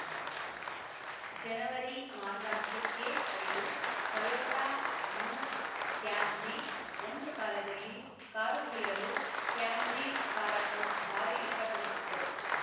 ಜನವರಿ ಮಾಸಾಂತ್ಯಕ್ಕೆ ಐದು Toyota new Camry ಒಂದು ಕಾಲದಲ್ಲಿ ಕಾರು ಪ್ರಿಯರು ಕ್ಯಾಮ್ರಿ ಕಾರನ್ನು ಭಾರಿ ಇಷ್ಟಪಡುತ್ತಿದ್ದರು